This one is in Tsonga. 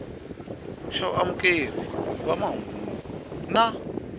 xa vaamukeri va mahungu na